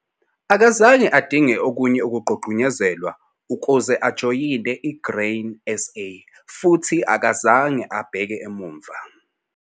Akazange adinge okunye ukugqugquzelwa ukuze ajoyine i-Grain SA futhi akazange abheke emuva.